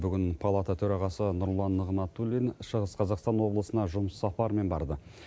бүгін палата төрағасы нұрлан нығматулин шығыс қазақстан облысына жұмыс сапарымен барды